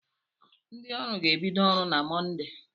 Ndị ọrụ ga-ebido ọrụ na Mọnde.